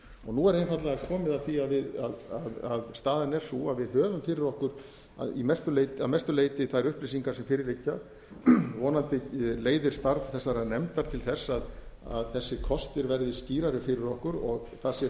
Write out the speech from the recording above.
nú er einfaldlega komið að því að við staðan er sú að við höfum fyrir okkur að mestu leyti þær upplýsingar sem fyrir liggja vonandi leiðir starf þessarar nefndar til þess að þessir kostir verði skýrari fyrir okkur og það sé